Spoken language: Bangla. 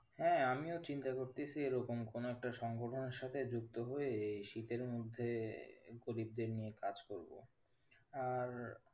হ্যাঁ, আমিও চিন্তা করতাছি এরকম কোনো একটা সংগঠনে সাথে যুক্ত হয়ে এই শীতের মধ্যে গরিবদের নিয়ে কাজ করবো আর